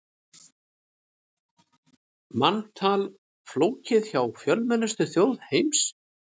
Manntal flókið hjá fjölmennustu þjóð heims